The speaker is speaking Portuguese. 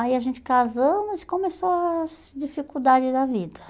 Aí a gente casamos e começou as dificuldades da vida.